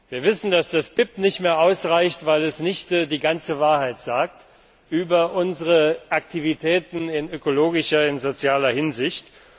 BIP. Wir wissen, dass das BIP nicht mehr ausreicht, weil es nicht die ganze Wahrheit sagt über unsere Aktivitäten in ökologischer und sozialer Hinsicht.